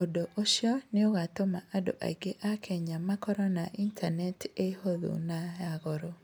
Ũndũ ũcio nĩ ũgatũma andũ aingĩ a Kenya makorũo na Intaneti ihũthũ na ya goro.